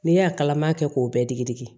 N'e y'a kalama kɛ k'o bɛɛ digi digi